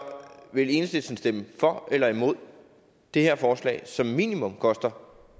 vil enhedslisten stemme for eller imod det her forslag som minimum koster